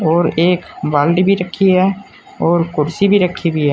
और एक बाल्टी भी रखी है और कुर्सी भी रखी हुई है।